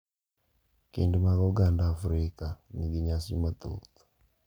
Kend mag oganda Afrika nigi nyasi mathoth.